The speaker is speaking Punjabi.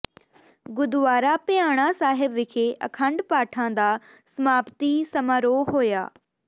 ਗੁਰਦੁਆਰਾ ਭਿਆਣਾ ਸਾਹਿਬ ਵਿਖੇ ਅਖੰਡ ਪਾਠਾਂ ਦਾ ਸਮਾਪਤੀ ਸਮਾਰੋਹ ਹੋਇਆ